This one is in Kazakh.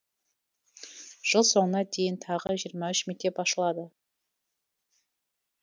жыл соңына дейін тағы жиырма үш мектеп ашылады